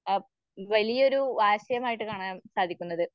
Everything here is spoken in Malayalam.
അപ് അത് വലിയൊരു ആശയമായിട്ട് കാണാൻ സാധിക്കുന്നത്.